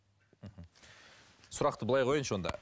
мхм сұрақты былай қояйыншы онда